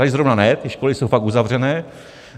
Tady zrovna ne, ty školy jsou fakt uzavřené.